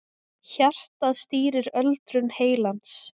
Hjartað stýrir öldrun heilans